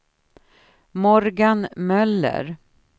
Morgan Möller